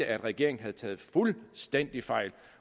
at regeringen havde taget fuldstændig fejl